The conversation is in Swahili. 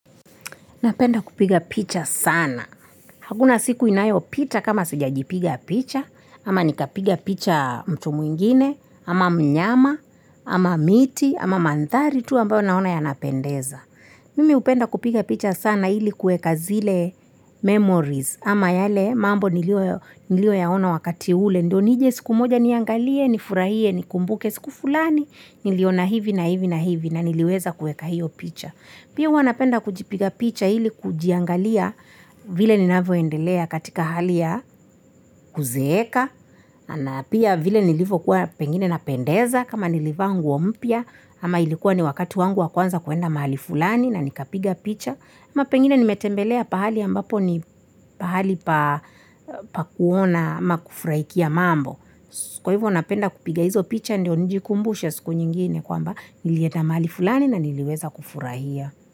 Napenda kupiga picha sana. Hakuna siku inayopita kama sijajipiga picha, ama nikapiga picha mtu mwingine, ama mnyama, ama miti, ama mandhari, tu ambayo naona yanapendeza. Mimi upenda kupiga picha sana ili kueka zile memories, ama yale mambo nilioyaona wakati ule, ndio nije siku moja niangalie, nifurahie, nikumbuke, siku fulani, niliona hivi na hivi na hivi na niliweza kueka hiyo picha. Pia huwa napenda kujipiga picha hili kujiangalia vile ninavyoendelea katika hali ya kuzeeka, na pia vile nilivokuwa pengine napendeza kama nilivaa nguo mpya, ama ilikuwa ni wakati wangu wa kwanza kuenda mahali fulani na nikapiga picha. Ama pengine nimetembelea pahali ambapo ni pahali pa kuona ama kufurahikia mambo. Kwa hivyo napenda kupiga hizo picha ndio njikumbushe siku nyingine kwamba nilienda mahali fulani na niliweza kufurahia.